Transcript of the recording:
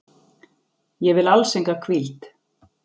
Ég vil alls enga hvíld.